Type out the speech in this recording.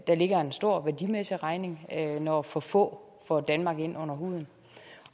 der ligger en stor værdimæssig regning når for få får danmark ind under huden